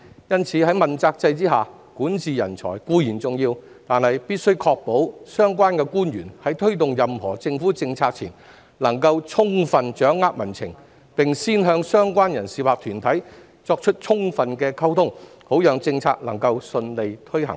因此，在問責制下，管治人才固然重要，但必須確保相關官員在推動任何政府政策前，能充分掌握民情，並先與相關人士或團體進行充分溝通，好讓政策能夠順利推行。